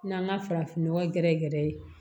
N'an ka farafinnɔgɔn gɛrɛ gɛrɛ ye